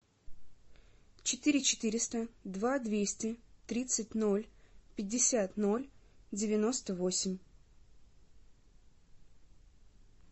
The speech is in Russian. четыре четыреста два двести тридцать ноль пятьдесят ноль девяносто восемь